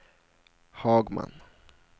Hagman